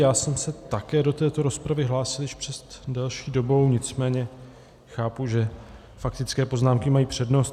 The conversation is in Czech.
Já jsem se také do této rozpravy hlásil již před delší dobou, nicméně chápu, že faktické poznámky mají přednost.